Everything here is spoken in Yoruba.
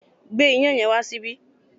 Gbé iyán yẹn wá sí ibí!